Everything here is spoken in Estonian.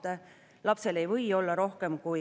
Panen lõpphääletusele eelnõu 146.